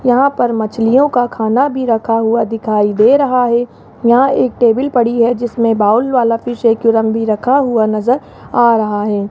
यहां पर मछलियों का खाना भी रखा हुआ दिखाई दे रहा है यहां एक टेबल पड़ी है जिसमें बाउल वाला फिश एक्वेरियम भी रखा हुआ नजर आ रहा है।